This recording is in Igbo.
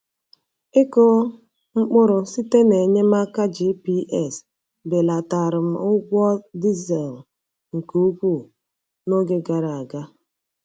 Ịkụ mkpụrụ site na enyemaka GPS belatara m ụgwọ dizel nke ukwuu n’oge gara aga.